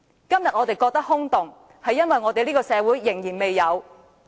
今天我們覺得空洞，是因為這個社會仍然未有公平和公義。